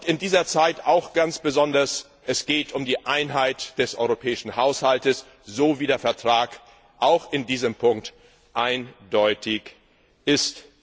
In dieser Zeit geht es auch ganz besonders um die Einheit des Europäischen Haushalts, so wie der Vertrag auch in diesem Punkt eindeutig ist.